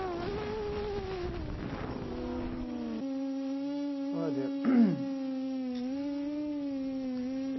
O que você achou de você ter dado o seu depoimento aqui no Museu da Pessoa? Olha.